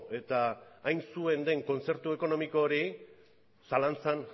eta hain zuen den kontzertu ekonomiko hori zalantzan